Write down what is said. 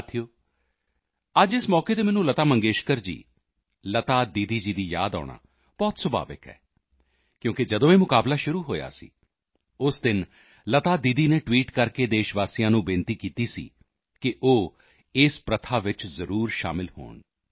ਸਾਥੀਓ ਅੱਜ ਇਸ ਮੌਕੇ ਤੇ ਮੈਨੂੰ ਲਤਾ ਮੰਗੇਸ਼ਕਰ ਜੀ ਲਤਾ ਦੀਦੀ ਦੀ ਯਾਦ ਆਉਣਾ ਬਹੁਤ ਸੁਭਾਵਿਕ ਹੈ ਕਿਉਂਕਿ ਜਦੋਂ ਇਹ ਮੁਕਾਬਲਾ ਸ਼ੁਰੂ ਹੋਇਆ ਸੀ ਉਸ ਦਿਨ ਲਤਾ ਦੀਦੀ ਨੇ ਟਵੀਟ ਕਰਕੇ ਦੇਸ਼ਵਾਸੀਆਂ ਨੂੰ ਅਨੁਰੋਧ ਕੀਤਾ ਸੀ ਕਿ ਉਹ ਇਸ ਪ੍ਰਥਾ ਵਿੱਚ ਜ਼ਰੂਰ ਸ਼ਾਮਲ ਹੋਣ